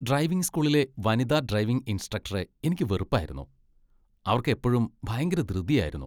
Driving സ്കൂളിലെ വനിതാ driving ഇൻസ്ട്രക്ടറെ എനിക്ക് വെറുപ്പായിരുന്നു. അവർക്ക് എപ്പഴും ഭയങ്കര ധൃതിയായിരുന്നു.